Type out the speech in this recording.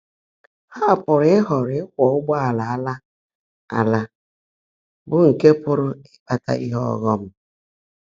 Há pụ́rụ́ ị́họ́ọ́ró íkwọ́ ụ́gbọ́áàlà árã árã, bụ́ nkè pụ́rụ́ ị́kpátá íhe ọ́ghọ́m.